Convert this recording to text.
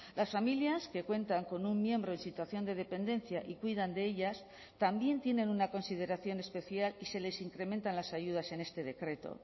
las familias que cuentan con un miembro en situación de dependencia y cuidan de ellas también tienen una consideración especial y se les incrementan las ayudas en este decreto